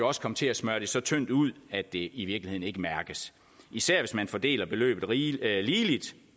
også komme til at smøre det så tyndt ud at det i virkeligheden ikke mærkes især hvis man fordeler beløbet ligeligt